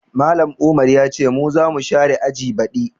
Mallam Umar ya ce mu za mu share aji baɗi